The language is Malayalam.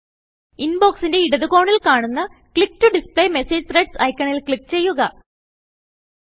ഇൻബോക്സിന്റെ ഇടതു കോണിൽ കാണുന്ന ക്ലിക്ക് ടോ ഡിസ്പ്ലേ മെസേജ് threadsഐക്കണിൽ ക്ലിക്ക് ചെയ്യുക